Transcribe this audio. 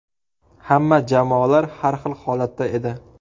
Hamma jamoalar har xil holatda edi.